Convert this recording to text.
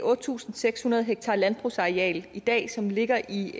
otte tusind seks hundrede ha landbrugsareal i dag som ligger i